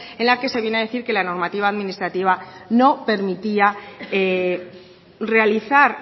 en la que se viene a decir que la normativa administrativa no permitía realizar